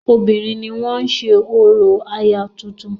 Obìnrin ni wọ́n ń ṣe orò aya tuntun.